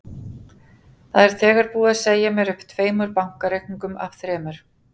Það er þegar búið að segja mér upp tveimur bankareikningum af þremur.